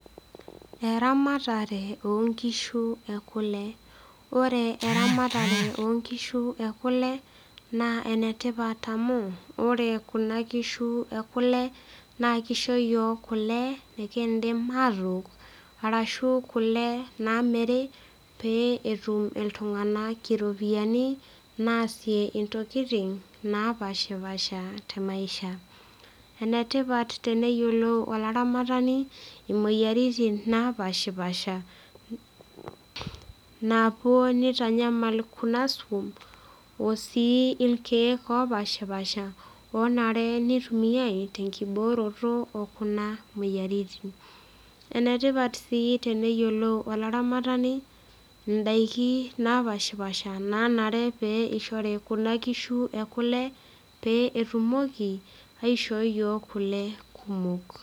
Eramatare oonkishu ekule ore eramatare onkishu ekule na enetipat oleng amu ore kuna kishu ekule na kisho yiok kule nekindim atook arashu kule namiri petumu ltunganak iropiyiani naasie ntokitin napashipasha te maisha, enetipat teneyiolou olaramatani imoyiaritin napashipasha napuo nitanyamal kuna irkek opashipasha onaee nitumiaae tenkibooroto ononamoyiaritin enetipat si teneyiolou olaramatani ndakini napashipasha naishori kuna kishu ekule peetumoki aishoo yioo kule kumok.